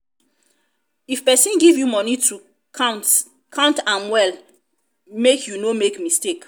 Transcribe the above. if person give you money to count count am well make you no make mistake.